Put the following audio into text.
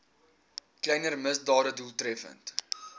kleiner misdade doeltreffend